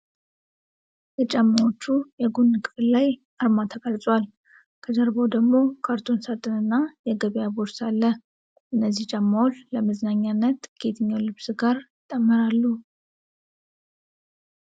በጫማዎቹ የጎን ክፍል ላይ አርማ ተቀርጿል። ከጀርባው ደግሞ ካርቶን ሳጥን እና የገበያ ቦርሳ አለ። እነዚህ ጫማዎች ለመዝናኛነት ከየትኛው ልብስ ጋር ይጣመራሉ?